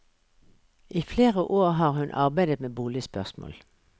I flere år har hun arbeidet med boligspørsmål.